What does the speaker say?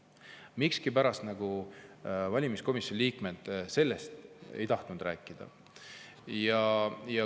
Miskipärast valimiskomisjoni liikmed sellest ei tahtnud rääkida.